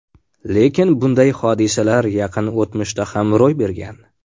Lekin bunday hodisalar yaqin o‘tmishda ham ro‘y bergan.